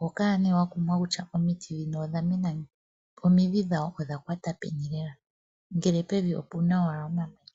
oho kala nee wakumwa kutya omiti dhino odhamena ngiini dho omidhi dhawo odha kwata peni lela ngele pevi opena owala omamanya.